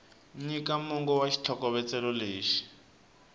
nyika mongo wa xitlhokovetselo lexi